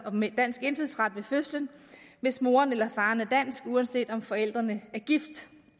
med dansk indfødsret ved fødslen hvis moren eller faren er dansk uanset om forældrene er gift